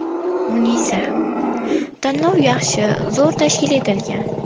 Munisa: Tanlov yaxshi, zo‘r tashkil etilgan.